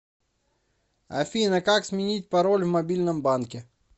афина как сменить пароль в мобильном банке